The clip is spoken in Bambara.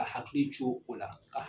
A hakili co o la.